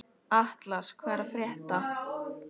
Atlas, hvað er að frétta?